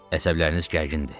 Əsəbləriniz gərgindir.